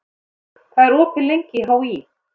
Sóldögg, hvað er opið lengi í HÍ?